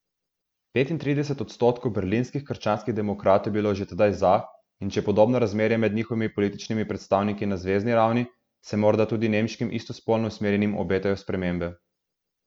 Petintrideset odstotkov berlinskih krščanskih demokratov je bilo že tedaj za, in če je podobno razmerje med njihovimi političnimi predstavniki na zvezni ravni, se morda tudi nemškim istospolno usmerjenim obetajo spremembe.